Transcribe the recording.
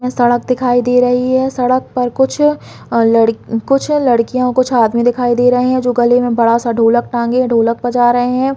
सड़क दिखाई दे रही है सड़क पर कुछ अ लड़ कुछ लड़कियाँ ओ कुछ आदमी दिखाई दे रहे है जो गले में बड़ा सा ढोलक टांगे है ढोलक बजा रहे है।